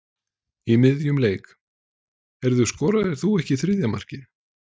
Í miðjum leik: Heyrðu, skoraðir þú ekki þriðja markið?